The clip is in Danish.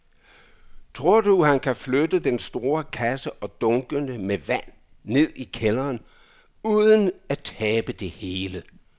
Tror du, at han kan flytte den store kasse og dunkene med vand ned i kælderen uden at tabe det hele?